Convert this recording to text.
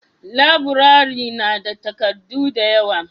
laburare na da takardu da yawa